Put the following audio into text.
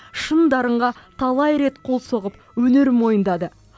шын дарынға талай рет қол соғып өнерін мойындады